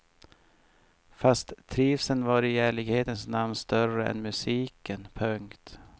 Fast trivseln var i ärlighetens namn större än musiken. punkt